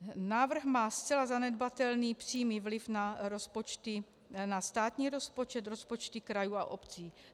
Návrh má zcela zanedbatelný přímý vliv na státní rozpočet, rozpočty krajů a obcí.